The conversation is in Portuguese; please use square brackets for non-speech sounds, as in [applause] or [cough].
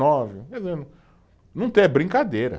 Nove, [unintelligible] não tem, é brincadeira.